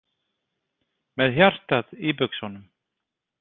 Með hjartað í buxunum.